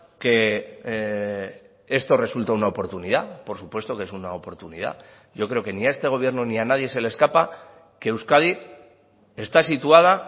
que esto resulta una oportunidad por supuesto que es una oportunidad yo creo que ni a este gobierno ni a nadie se le escapa que euskadi está situada